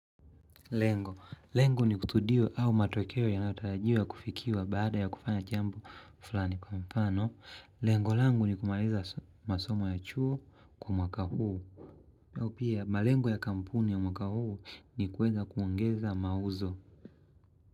Lengo. Lengo ni kusudio au matokeo ya nayotalajiwa kufikiwa baada ya kufanya jambo fulani kwa mfano. Lengo langu ni kumareza masomo ya chuo kwa mwaka huu. Au pia malengo ya kampuni ya mwaka huu ni kueza kuongeza mauzo.